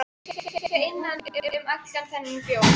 Mér leið illa innan um allan þennan bjór.